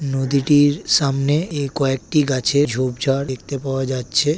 নদীটির সামনে কয়েকটি গাছের ঝোপ ঝাড় দেখতে পাওয়া যাচ্ছে।